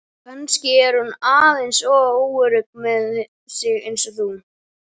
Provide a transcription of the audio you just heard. Kannski er hún aðeins óörugg með sig eins og þú.